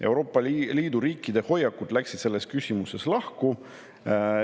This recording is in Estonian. Euroopa Liidu riikide hoiakud läksid selles küsimuses lahku.